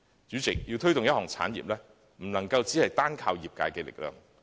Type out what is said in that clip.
主席，要推動一項產業，不能單靠業界的力量。